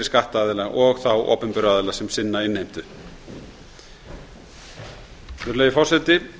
skattaðila og þá opinberu aðila sem sinna innheimtu virðulegi forseti